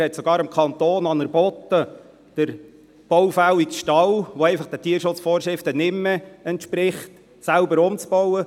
Er hat dem Kanton sogar angeboten, den baufälligen Stall, der den Tierschutzvorschriften einfach nicht mehr entspricht, selber umzubauen.